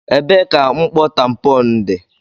Ebee ka mkpọ tampon dị?